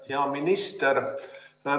Hea minister!